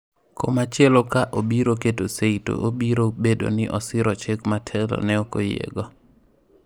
Koma chielo ka obiro keto seyi to obiro bedo ni osiro chik ma telo ne ok oyiego.